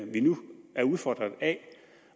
vi nu er udfordret af